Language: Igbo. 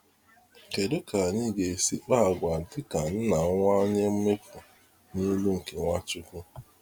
Kedụ ka anyị ga esi kpá àgwà dịka nna nwa onye mmefu n'ilu nke Nwachukwu.